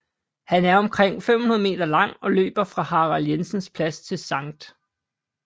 Den er omkring 500 m lang og løber fra Harald Jensens Plads til Skt